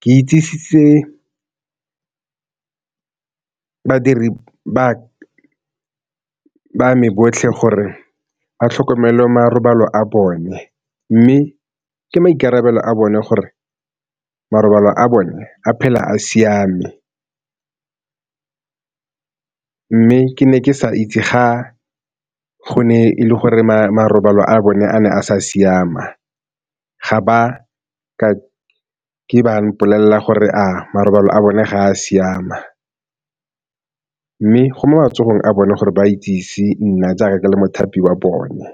ke itsisitse badiri ba me botlhe gore ba tlhokomele marobalo a bone, mme ke maikarabelo a bone gore marobalo a bone a phele a siame, mme ke ne ke sa itse ga go ne e le gore maikarabelo a bone a ne a sa siama, ga ba ka ke ba mpolelela gore a marobalo a bone ga a siama, mme go mo matsogong a bone gore ba itsise nna tsaya ka le mothapi wa bone.